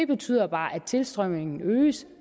betyder bare at tilstrømningen øges